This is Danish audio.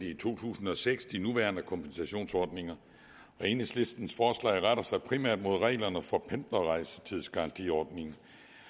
i to tusind og seks godkendte de nuværende kompensationsordninger og enhedslistens forslag retter sig primært mod reglerne for pendlerrejsetidsgarantiordningen